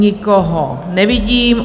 Nikoho nevidím.